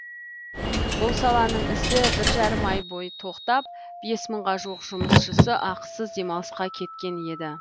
бұл саланың ісі бір жарым ай бойы тоқтап бес мыңға жуық жұмысшысы ақысыз демалысқа кеткен еді